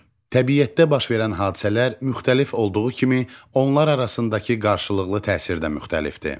Təbiətdə baş verən hadisələr müxtəlif olduğu kimi onlar arasındakı qarşılıqlı təsirdə müxtəlifdir.